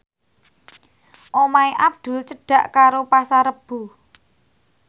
omahe Abdul cedhak karo Pasar Rebo